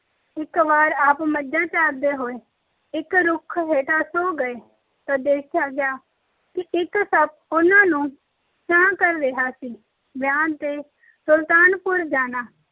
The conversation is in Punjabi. ਇੱਕ ਵਾਰ ਆਪ ਮੱਝਾਂ ਚਾਰਦੇ ਹੋਏ ਇੱਕ ਰੁੱਖ ਹੇਠਾਂ ਸੌ ਗਏ ਤਾਂ ਦੇਖਿਆ ਗਿਆ ਕਿ ਇੱਕ ਸੱਪ ਉਹਨਾਂ ਨੂੰ ਛਾਂ ਕਰ ਰਿਹਾ ਸੀ। ਵਿਆਹ ਤੇ ਸੁਲਤਾਨਪੁਰ ਜਾਣਾ-